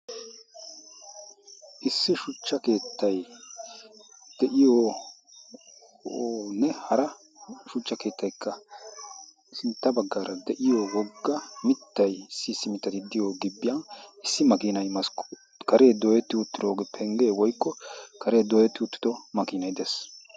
issi shuchcha keettay de'iyooonne hara shuchcha keettaykka sintta baggaara de'iyo wogga mittay issii simmitati diyo gibbiyan issi makiinay maskkuu karee dooyetti utirooge penggee woykko karee dooyetti uttido makiinay dees